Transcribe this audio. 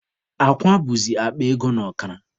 Akwa bụzi akpa ego na ọkara.